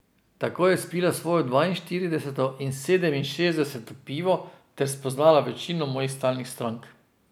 Tako je spila svoje dvainštirideseto in sedeminšestdeseto pivo ter spoznala večino mojih stalnih strank.